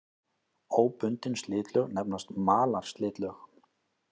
Óbundin slitlög nefnast malarslitlög.